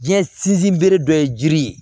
Diɲɛ sinsin bere dɔ ye jiri ye